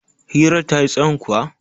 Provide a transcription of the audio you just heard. hirar ta yi tsahon kuwa?